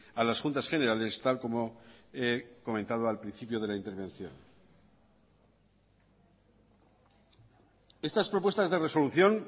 a las juntas generales tal como he comentado al principio de la intervención estas propuestas de resolución